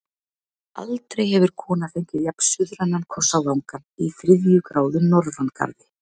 Aldrei hefur kona fengið jafn-suðrænan koss á vangann í þriðju gráðu norðangarði.